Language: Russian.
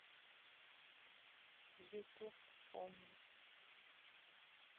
ютуб помнить